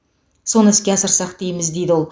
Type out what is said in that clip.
соны іске асырсақ дейміз дейді ол